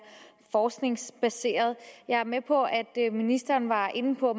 forskningsbaserede jeg er med på at ministeren var inde på